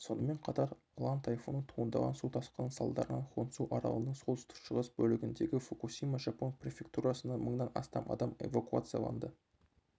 сонымен қатар лан тайфуны туындаған су тасқыны салдарынан хонсю аралының солтүстік-шығыс бөлігіндегі фукусима жапон префектурасынан мыңнан астам адам эвакуацияланды